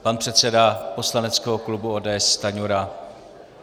Pan předseda poslaneckého klubu ODS Stanjura.